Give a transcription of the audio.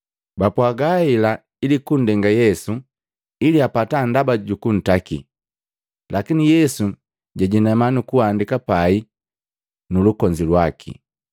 Bapwaaga hela ili kundenga Yesu ili apata ndaba jukuntaki. Lakini Yesu jajinama nukuandika pai nu lukonzi lwaki.